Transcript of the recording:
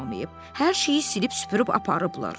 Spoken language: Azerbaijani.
Hər şeyi silib-süpürüb aparıblar.